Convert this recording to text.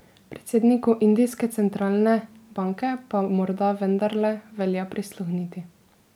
Predsedniku indijske centralne banke pa morda vendarle velja prisluhniti.